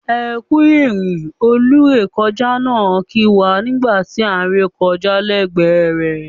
"Ekú ìrìn" olúrekọjá náà kì wá nígbà tí án re kọjá lẹgbẹ rẹ̀.